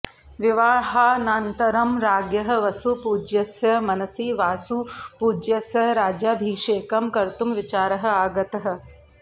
विवाहानन्तरं राज्ञः वसुपूज्यस्य मनसि वासुपूज्यस्य राज्याभिषेकं कर्तुं विचारः आगतः